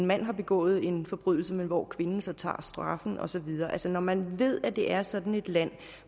manden har begået en forbrydelse men hvor kvinden så tager straffen og så videre selv om man ved at det er sådan et land